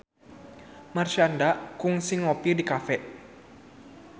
Marshanda kungsi ngopi di cafe